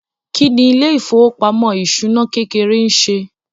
Kí ni ilé ìfowópamọ́ ìṣúná kékeré ń ṣe?